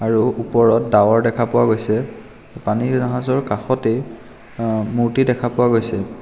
আৰু ওপৰত ডাৱৰ দেখা পোৱা গৈছে পানী জাহাজৰ কাষতে মূৰ্ত্তি দেখা পোৱা গৈছে.